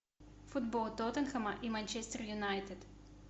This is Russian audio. футбол тоттенхэма и манчестер юнайтед